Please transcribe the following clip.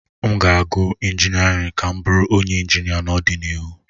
M ga-agụ injiniarin ka m bụrụ onye injinia n'ọdịnihu